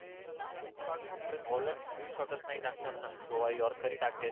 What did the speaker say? full shot परत bowler full shot च नाही टाकणार ना योर्केर हि टाकेल.